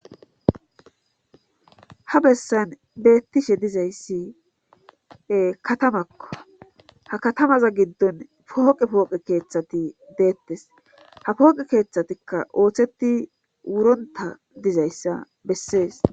Ha bessan beettishe dizayssi katamakka ha katamaza giddon pooqe pooqe keeththati deettes ha pooqe keeththatikka ooththeti wuronta dizayssa bessees